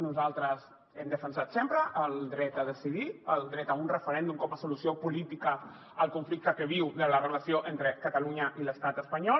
nosaltres hem defensat sempre el dret a decidir el dret a un referèndum com a solució política al conflicte que viu la relació entre catalunya i l’estat espanyol